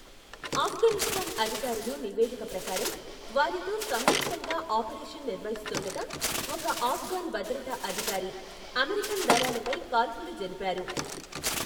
ఆఫ్ఘనిస్తాన్ అధికారులు నివేదిక ప్రకారం, వారితో సంయుక్తంగా ఆపరేషన్ నిర్వహిస్తుండగా ఒక ఆఫ్ఘన్ భద్రతా అధికారి అమెరికన్ దళాలపై కాల్పులు జరిపారు.